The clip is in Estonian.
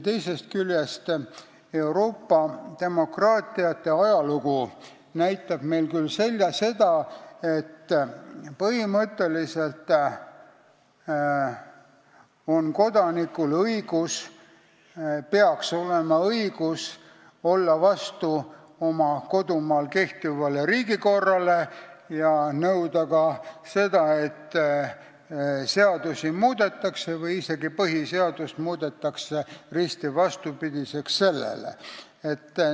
Teisest küljest, Euroopa demokraatiate ajalugu näitab meile seda, et põhimõtteliselt peaks kodanikul olema õigus olla vastu oma kodumaal kehtivale riigikorrale ja nõuda ka seda, et seadusi või isegi põhiseadust muudetaks risti vastupidiseks.